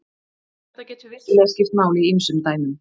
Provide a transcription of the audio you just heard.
Þetta getur vissulega skipt máli í ýmsum dæmum.